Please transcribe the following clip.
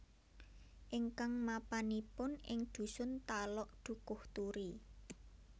Ingkang mapanipun ing dhusun Talok Dukuhturi